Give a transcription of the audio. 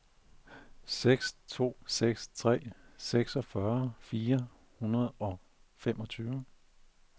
seks to seks tre seksogfyrre fire hundrede og femogtyve